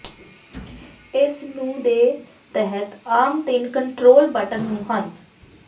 ਇਸ ਨੂੰ ਦੇ ਤਹਿਤ ਆਮ ਤਿੰਨ ਕੰਟਰੋਲ ਬਟਨ ਨੂੰ ਹਨ